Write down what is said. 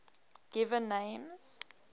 given names